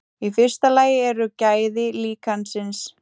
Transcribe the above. Í fyrsta lagi eru gæði líkansins.